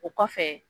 O kɔfɛ